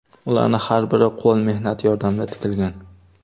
Ularning har biri qo‘l mehnati yordamida tikilgan.